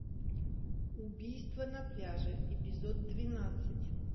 убийство на пляже эпизод двенадцать